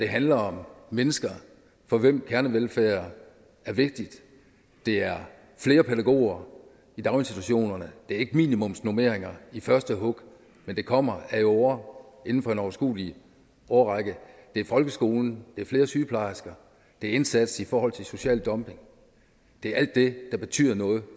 handler om mennesker for hvem kernevelfærd er vigtigt det er flere pædagoger i daginstitutionerne det er ikke minimumsnormeringer i første hug men det kommer ad åre inden for en overskuelig årrække det er folkeskolen det er flere sygeplejersker det er indsats i forhold til social dumping det er alt det der betyder noget